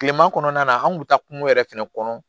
Kileman kɔnɔna na an kun bɛ taa kungo yɛrɛ fɛnɛ kɔnɔ